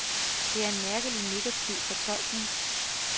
Det er en mærkelig negativ fortolkning.